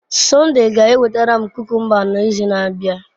Sunday ga-ewetara m kukumba n'izu na-abịa.